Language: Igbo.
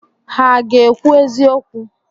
Ha ga-ekwu eziokwu?